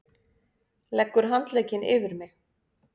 Leggur handlegginn yfir mig.